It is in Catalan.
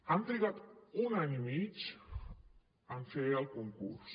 han trigat un any i mig a fer el concurs